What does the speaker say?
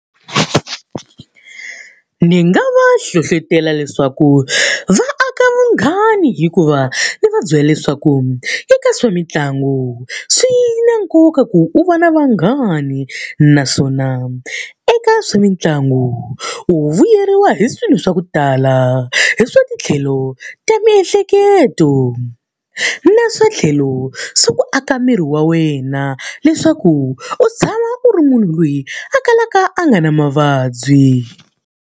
Ni nga va hlohletela leswaku va aka vunghani hikuva ndzi va byela leswaku eka swa mitlangu, swi na nkoka ku u va na vanghani. Naswona eka swa mitlangu u vuyeriwa hi swilo swa ku tala hi swa tlhelo ta miehleketo, na swa tlhelo swa ku aka miri wa wena. Leswaku u tshama u ri munhu loyi a kalaka a nga na mavabyi.